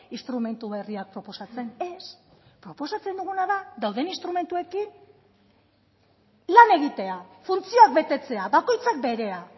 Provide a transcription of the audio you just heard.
instrumentu berriak proposatzen ez proposatzen duguna da dauden instrumentuekin lan egitea funtzioak betetzea bakoitzak berea